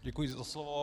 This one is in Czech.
Děkuji za slovo.